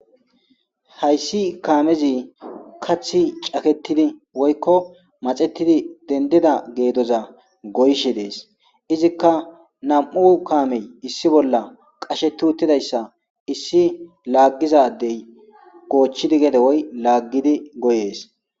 Haysi kaamezi aththi woyko mathettidi dendida getoza goyishees. Izikka na'amu kaame issi bolla kushetti uttida issa issi laaggiza dayi woykko laaggidi goyees.